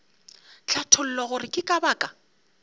hlatholla gore ke ka baka